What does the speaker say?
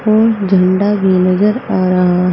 और झंडा भी नजर आ रहा है।